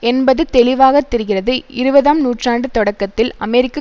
என்பது தெளிவாகத்தெரிகிறது இருபதாம் நூற்றாண்டு தொடக்கத்தில் அமெரிக்க